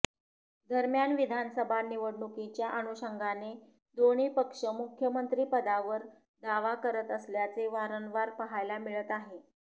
दरम्यान विधानसभा निवडणुकीच्या अनुषंगाने दोन्ही पक्ष मुख्यमंत्री पदावर दावा करत असल्याचे वारंवार पाहायला मिळत आहे